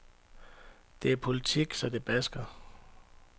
Det er politik, så det basker.